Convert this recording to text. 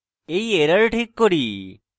এই error ঠিক করি